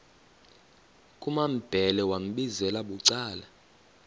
kumambhele wambizela bucala